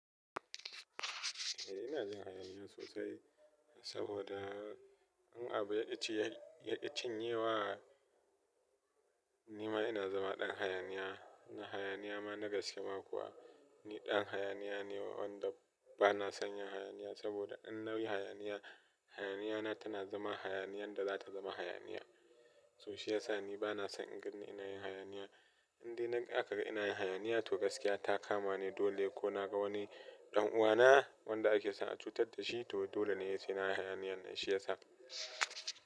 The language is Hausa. Eh ina jin hayaniya sosai, saboda in abu yaƙi cinye wa, ni ma ina zama ɗan hayaniya. Hayaniya ma na gaskiya ma kuwa ni ɗan hayaniya ne wanda ba na son yin hayaniya. Saboda in na yi hayaniya, hayaniyata tana zama hayaniyan da za ta zama hayaniya. To shiyasa ni ba na son in gan in na yi hayaniya. Indai na aka ga ina yin hayaniya to gaskiya ta kama ne dole ko naga wani ɗan uwana wanda ake son a cutar da shi toh dole ne sai nayi hayaniyan, shiyasa.